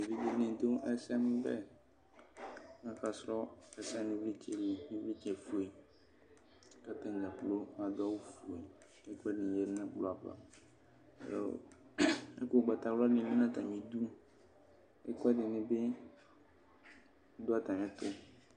Evidze nidʋ ɛsɛmʋbɛ akasʋ ɛsɛ nʋ ivlitsɛ li ivlitsɛfue kʋ atadza kplɔ adʋ awʋfue kʋ ɛkʋɛdibi lɛnʋ ɛkplɔ ava ɛkʋ ʋgbatawla ni lɛnʋ atami idʋ ɛkʋɛdini bi dʋ atami ɛtʋ